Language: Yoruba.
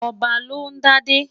Ọba ló ń dádé.